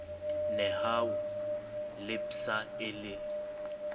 nehawu le psa e le